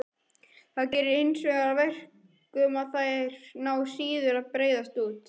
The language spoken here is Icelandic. Það gerir hinsvegar að verkum að þær ná síður að breiðast út.